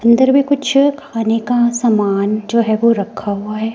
अंदर भी कुछ खाने का सामान जो है वो रखा हुआ है।